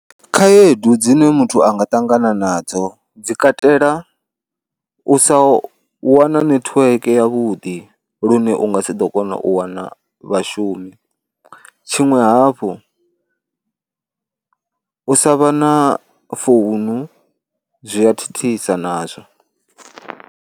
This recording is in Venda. Khaedu dzine muthu a nga ṱangana nadzo dzi katela u sa wana netiweke yavhuḓi lune u nga si ḓo kona u wana vhashumi, tshiṅwe hafhu, u sa vha na founu zwi a thithisa nazwo.